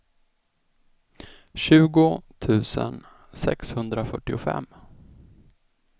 tjugo tusen sexhundrafyrtiofem